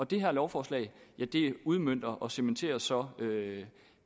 det her lovforslag udmønter og cementerer så